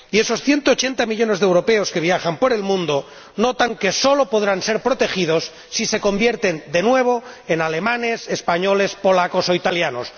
Y esos ciento ochenta millones de europeos que viajan por el mundo notan que sólo podrán ser protegidos si se convierten de nuevo en alemanes, españoles, polacos o italianos.